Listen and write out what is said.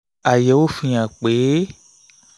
àyẹ̀wò fihàn pé